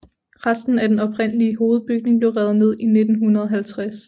Resten af den oprindelige hovedbygning blev revet ned i 1950